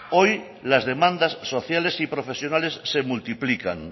hoy las demandas sociales y profesionales se multiplican